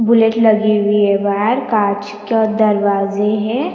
Bullet लगी हुई है भार कांच का दरवाज़े है।